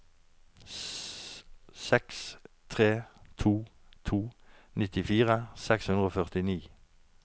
seks tre to to nittifire seks hundre og førtini